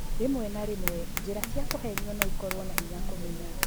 Rĩmwe na rĩmwe, njĩra cia kũhenio no ikorũo na hinya kũmenya.